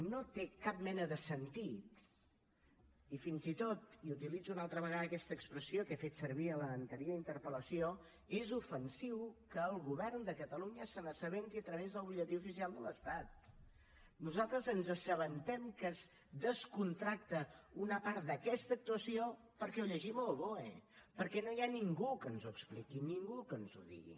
no té cap mena de sentit i fins i tot i utilitzo una altra vegada aquesta expressió que he fet servir a l’anterior interpel·lació és ofensiu que el govern de catalunya se n’assabenti a través del butlletí oficial de l’estat nosaltres ens assabentem que es descontracta una part d’aquesta actuació perquè ho llegim al boe perquè no hi ha ningú que ens ho expliqui ningú que ens ho digui